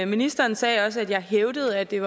ministeren sagde også at jeg hævdede at det